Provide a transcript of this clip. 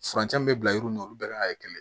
Furancɛ min bɛ bila yɔrɔ min na olu bɛɛ ka kɛ kelen ye